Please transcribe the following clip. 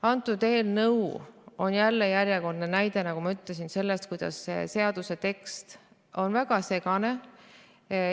Antud eelnõu on järjekordne näide, nagu ma ütlesin, selle kohta, kuidas seaduse tekst on väga segane.